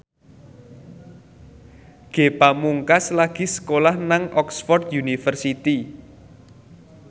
Ge Pamungkas lagi sekolah nang Oxford university